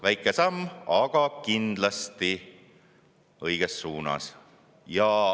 Väike samm, aga kindlasti õiges suunas.